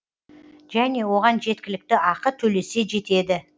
және оған жеткілікті ақы төлесе жетеді